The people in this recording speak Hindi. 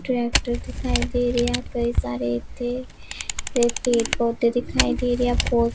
ट्रैक्टर दिखाई दे रहे है कई सारे इत्थे वे पेड़ पौधे दिखाई दे रहे है फो --